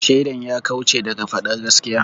Shaidan ya kauce daga faɗar gaskiya.